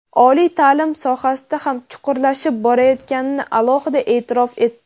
oliy ta’lim sohasida ham chuqurlashib borayotganini alohida e’tirof etdi.